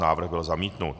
Návrh byl zamítnut.